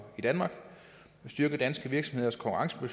i danmark styrke danske virksomheders konkurrenceevne